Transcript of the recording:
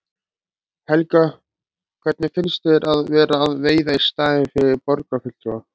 Helga: Hvernig finnst þér að vera að veiða í staðinn fyrir borgarfulltrúa?